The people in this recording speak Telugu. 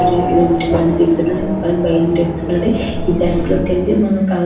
ఇదేంటి బండి దిగుతున్నాడు ఈ బ్యాంకు లోకెళ్ళి .]